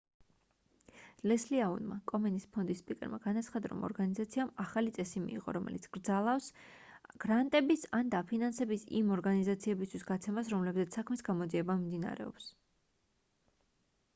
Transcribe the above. ლესლი აუნმა კომენის ფონდის სპიკერმა განაცხადა რომ ორგანიზაციამ ახალი წესი მიიღო რომელიც კრძალავს გრანტების ან დაფინანსების იმ ორგანიზაციებისთვის გაცემას რომლებზეც საქმის გამოძიება მიმდინარეობს